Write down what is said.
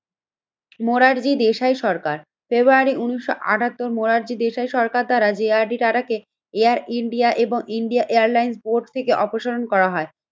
মোরার জি দেশাই সরকার ফেব্রুয়ারি উন্নিশশো আঠাত্তর মোরার জি দেশাই সরকার দ্বারা যে আর ডি টাটাকে থেকে এয়ার ইন্ডিয়া এবং ইন্ডিয়া এয়ারলাইন্স বোর্ড থেকে অপসারণ করা হয়।